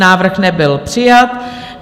Návrh nebyl přijat.